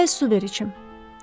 Əvvəl su ver içim.